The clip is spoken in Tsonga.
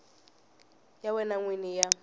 ya wena n wini ya